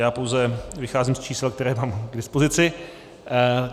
Já pouze vycházím z čísel, které mám k dispozici.